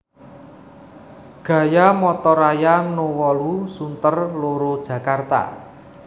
Gaya Motor Raya No wolu Sunter loro Jakarta